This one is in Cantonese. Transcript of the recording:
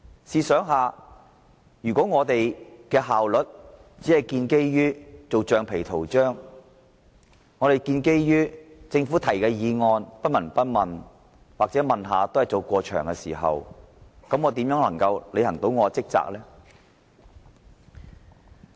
試想想，如果我們的效率只建基於做橡皮圖章，對政府議案不聞不問或隨便問兩句，我們又如何可以履行職責呢？